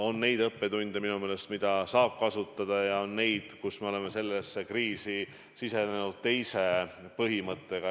On tõesti õppetunde, mida saab kasutada, ja on tegureid, mille tõttu me püüame seda kriisi lahendada, lähtudes teisest põhimõttest.